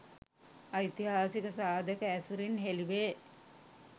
ඓතිහාසික සාධක ඇසුරින් හෙළිවේ.